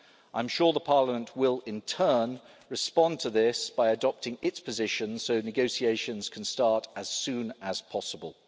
I'm sure that Parliament will respond to this by adopting its position so that negotiations can start as soon as possible.